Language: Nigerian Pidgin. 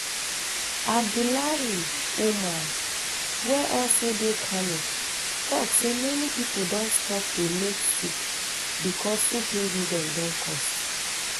abdullahi um umar wey also dey kano tok say many pipo don stop to make um soup becos soup ingredients don cost